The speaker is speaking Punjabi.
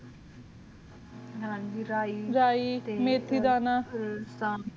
ਕਾਲਿਮਾਰਚ ਹਨ ਜੀ ਰਾਇ